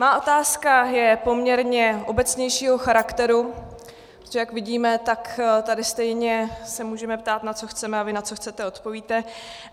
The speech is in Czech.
Má otázka je poměrně obecnějšího charakteru, protože jak vidíme, tak tady stejně se můžeme ptát, na co chceme, a vy na co chcete odpovíte.